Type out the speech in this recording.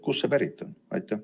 Kust see pärit on?